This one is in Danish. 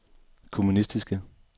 kommunistiske